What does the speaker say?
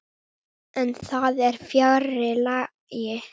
En það er fjarri lagi.